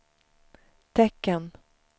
tecken